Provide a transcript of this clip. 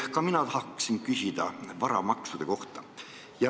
Ka mina tahan küsida varamaksude kohta.